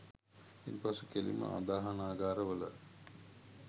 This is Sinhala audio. ඉන් පසු කෙළින්ම ආදාහනාගාර වල